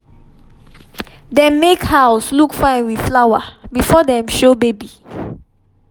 dem make house look fine with flower before dem show baby